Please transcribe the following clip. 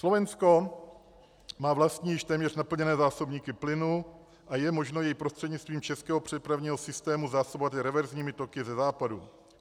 Slovensko má vlastní, již téměř naplněné zásobníky plynu a je možno jej prostřednictvím českého přepravního systému zásobovat i reverzními toky ze západu.